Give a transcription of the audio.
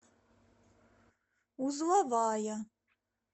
узловая